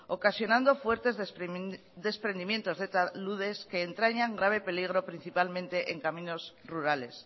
ocasionando fuertes desprendimientos de taludes que entrañan grave peligro principalmente en caminos rurales